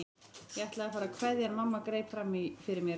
Ég ætlaði að fara að kveðja en mamma greip fram í fyrir mér.